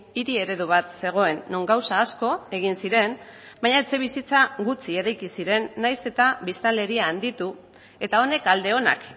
hiri eredu bat zegoen non gauza asko egin ziren baina etxebizitza gutxi eraiki ziren nahiz eta biztanleria handitu eta honek alde onak